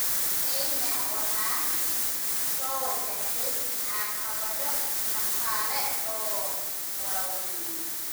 Kenya waxaa soo wajahday caqabado dhaqaale oo waaweyn.